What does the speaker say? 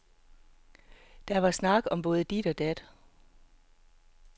Der var snak om både dit og dat.